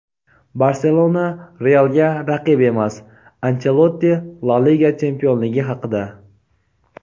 "Barselona" "Real"ga raqib emas – Anchelotti La liga chempionligi haqida.